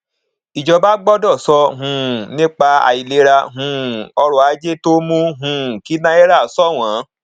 ìjọba gbọdọ sọ um nípa àìlera um ọrọ ajé tó mú um kí náírà ṣọwọn